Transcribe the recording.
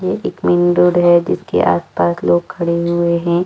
एक रोड है जिसके आस - पास लोग खड़े हुए है।